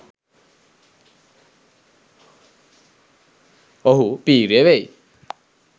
ඔහු පි්‍රය වෙයි.